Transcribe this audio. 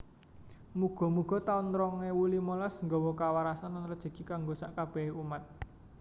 Mugo mugo taun rong ewu limolas nggowo kawarasan lan rejeki kanggo sak kabehe umat